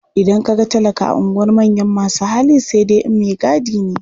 Idan ka ga talaka a unguwar manyan masu hali sai dai in maigadi ne.